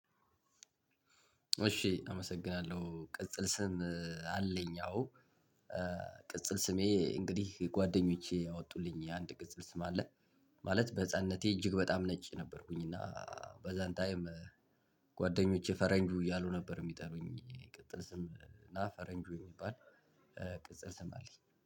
እሺ አመሰግናለሁ ቅጽል ስም አለኝ አዎ ቅጽል ስሜ እንግዲህ ጓደኞቼ ያወጡልኝ የአንድ ቅጽል ስም አለ። ማለት በህፃንነቴ እጅግ በጣም ነጭ ነበርኩኝ እና በዛን ታይም። ጓደኞቼ ፈረንጁ እያሉ ነበር ሚጠሩኝ ይቅጥል ስም እና ፈረንጁ የሚባል ቅጽል ስም አለኝ